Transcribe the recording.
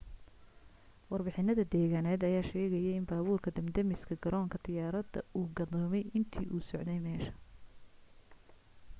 warbixinada deegaaneed ayaa sheegaayo in baabuurka dab damiska garoonka diyaarada uu gadoomay intuu u socday meesha